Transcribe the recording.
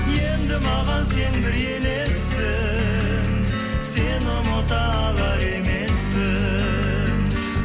енді маған сен бір елессің сені ұмыта алар емеспін